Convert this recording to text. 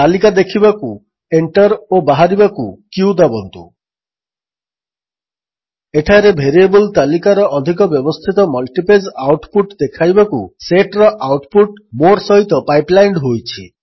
ତାଲିକା ଦେଖିବାକୁ ଏଣ୍ଟର୍ ଓ ବାହାରିବାକୁ q ଦାବନ୍ତୁ ଏଠାରେ ଭେରିଏବଲ୍ ତାଲିକାର ଅଧିକ ବ୍ୟବସ୍ଥିତ ମଲ୍ଟିପେଜ୍ ଆଉଟପୁଟ୍ ଦେଖାଇବାକୁ ସେଟ୍ର ଆଉଟ୍ପୁଟ୍ ମୋର୍ ସହିତ ପାଇପ୍ ଲାଇଣ୍ଡ୍ ହୋଇଛି